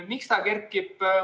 Miks see kerkis?